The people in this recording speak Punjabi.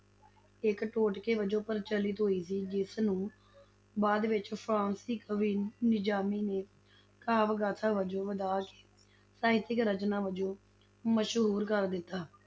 ਇੱਕ ਟੋਟਕੇ ਵਜੋਂ ਪ੍ਰਚਲਿਤ ਹੋਈ ਸੀ, ਜਿਸ ਨੂੰ ਬਾਅਦ ਵਿੱਚ ਫ਼ਾਰਸੀ ਕਵੀ ਨਿਜ਼ਾਮੀ ਨੇ ਕਾਵਿ-ਗਾਥਾ ਵਜੋਂ ਵਧਾਕੇ ਸਾਹਿਤਕ ਰਚਨਾ ਵਜੋਂ ਮਸ਼ਹੂਰ ਕਰ ਦਿੱਤਾ,